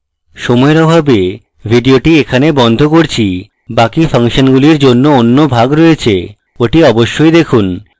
সময়ের অভাবে video এখানে বন্ধ করছি বাকি ফাংশনগুলির জন্য অন্য ভাগ রয়েছে ওটি অবশ্যই দেখুন